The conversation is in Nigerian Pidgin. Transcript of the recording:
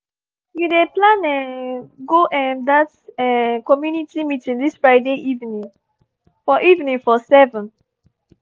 you dey plan um go um that um community meeting this friday evening for evening for seven?